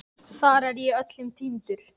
Þar er ég öllum týndur.